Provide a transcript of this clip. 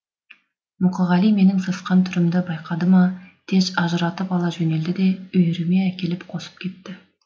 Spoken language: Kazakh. мұқағали менің сасқан түрімді байқады ма тез ажыратып ала жөнелді де үйіріме әкеліп қосып кетті